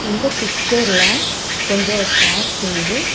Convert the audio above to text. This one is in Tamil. இந்த பிக்சர்ல கொஞ்சோ சேர்ஸ் தெரிது.